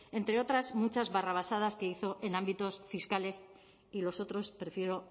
entre otras muchas barrabasadas que hizo en ámbitos fiscales y los otros prefiero